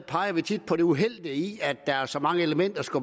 peger vi tit på det uheldige i at så mange elementer